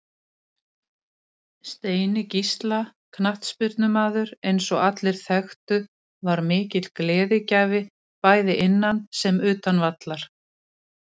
Steini Gísla knattspyrnumaður eins og allir þekktu var mikill gleðigjafi bæði innan sem utan vallar.